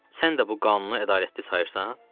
Sən də bu qanunu ədalətli sayırsan?